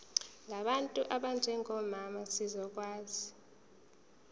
ngabantu abanjengomama zizokwazi